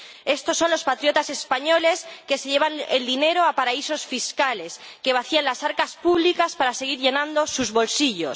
Estos son los patriotas españoles que se llevan el dinero a paraísos fiscales, que vacían las arcas públicas para seguir llenando sus bolsillos.